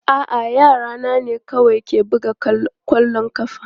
A'a, yara na ne kawai ke buga kwallon ƙafa.